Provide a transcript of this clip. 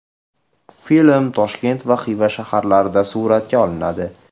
Film Toshkent va Xiva shaharlarida suratga olinadi.